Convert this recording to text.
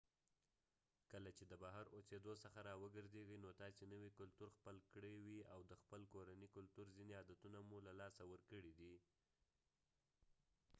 کله چې د بهر اوسیدو څخه راوګرځېږي نو تاسې نوی کلتور خپل کړی وي او د خپل کورني کلتور ځینې عادتونه مو له لاسه ورکړي دي